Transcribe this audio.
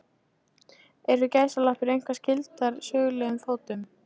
Eru gæsalappir eitthvað skyldar sögulegum fótum?